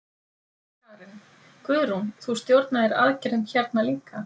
Karen: Guðrún, þú stjórnaðir aðgerðum hérna líka?